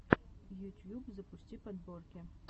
ютьюб запусти подборки